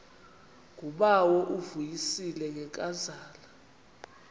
ngubawo uvuyisile ngenkazana